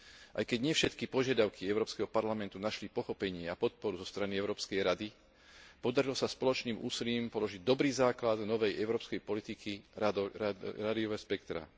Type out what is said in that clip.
Aj keď nie všetky požiadavky Európskeho parlamentu našli pochopenie a podporu zo strany Európskej rady, podarilo sa spoločným úsilím položiť dobrý základ novej európskej politiky rádiového spektra.